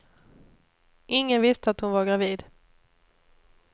Ingen visste att hon var gravid.